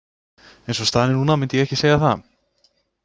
Eins og staðan er núna myndi ég ekki segja það.